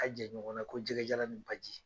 Ka jan ɲɔgɔn na ko jɛgɛjalan ni baji.